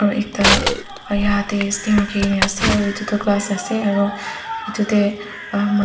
aro ekta rakhikaena ase aro edu toh glass ase aro edu tae emm.